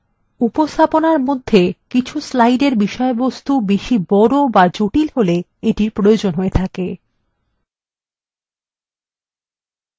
উপস্থাপনার মধ্যে কিছু slidesএর বিষয়বস্তু বড় অথবা বেশি জটিল হলে এটির প্রয়োজন হয়